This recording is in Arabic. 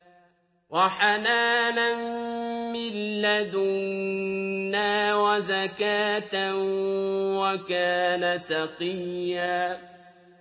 وَحَنَانًا مِّن لَّدُنَّا وَزَكَاةً ۖ وَكَانَ تَقِيًّا